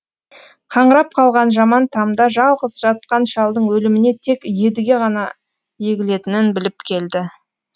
қаңырап қалған жаман тамда жалғыз жатқан шалдың өліміне тек едіге ғана егілетінін біліп келді